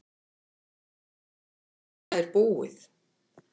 Þetta er búið.